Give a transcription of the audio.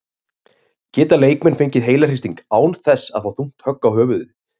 Geta leikmenn fengið heilahristing án þess að fá þungt högg á höfuðið?